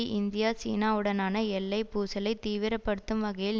India சீனாவுடனான எல்லை பூசலை தீவிரப்படுத்தும் வகையில்